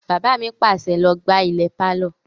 Bàbá mi pàṣẹ, "Lọ gbá ilẹ̀ pálọ̀!"